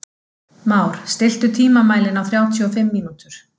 Már, stilltu tímamælinn á þrjátíu og fimm mínútur.